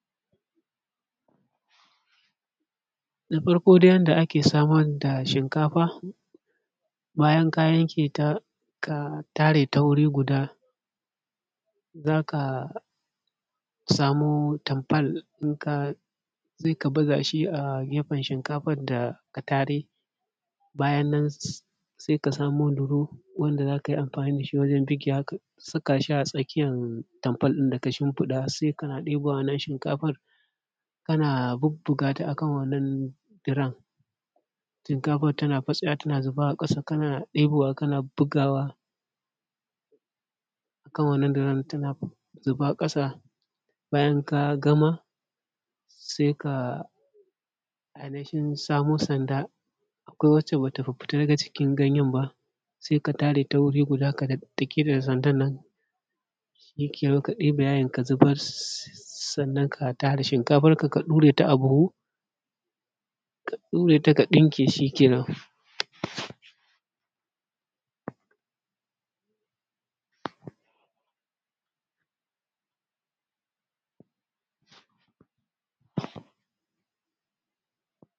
Na farko dai yanda ake samar da shinkafa. Bayan ka yanke ta, ka tare ta wuri guda, za ka samo tanfol ɗinka sai ka baza shi a gefen shinkafan da ka tare, bayanan nan sai ka samo durom wanda za ka yi amfani da shi wajan bugewa ka saka shi a tsakiyan tanfol ɗin da ka shinfiɗa, sai ka na ɗebowa wannan shinkafan kana bubbuga ta a kan wannan durom shinkafan tana fatsewa tana zuba a ƙasa kana ɗebowa kana bugawa a kan wannan durom tana zuba ƙasa. Bayanan ka gama sai ka ainihin samo sanda, akwai wacce ba ta fita daga cikin ganyan ba sai ka tare ta wuri guda ka daddake ta da sandanan shikenan ka ɗaibe yayin ka zubar. Sannan ka tare shinkafanka ka ɗure ta a buhu ka ɗure ta ka ɗinke shikenan.